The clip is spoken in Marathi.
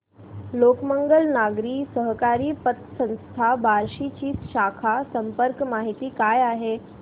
लोकमंगल नागरी सहकारी पतसंस्था बार्शी ची शाखा संपर्क माहिती काय आहे